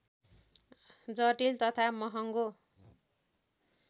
जटिल तथा महङ्गो